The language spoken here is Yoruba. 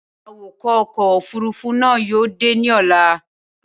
Awakọ̀ ọkọ̀ òfúrufú náà yóò dé ní ọlá.